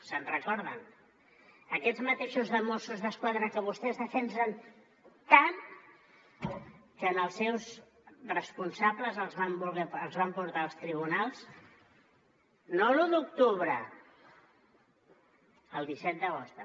se’n recorden aquests mateixos mossos d’esquadra que vostès defensen tant que als seus responsables els van portar als tribunals no per l’u d’octubre pel disset d’agost també